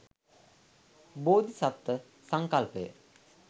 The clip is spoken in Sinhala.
බෝධිසත්ත්ව සංකල්පය